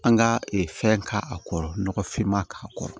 An ka fɛn k' a kɔrɔ nɔgɔfinma k'a kɔrɔ